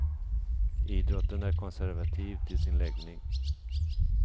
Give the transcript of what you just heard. Idrotten är konservativ till sin läggning.